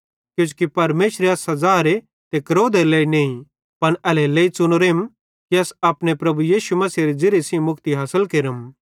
किजोकि परमेशरे अस सज़ारे ते क्रोधेरे लेइ नईं पन एल्हेरेलेइ च़ुनोरेम कि अस अपने प्रभु यीशु मसीहेरे ज़िरीये सेइं मुक्ति हासिल केरम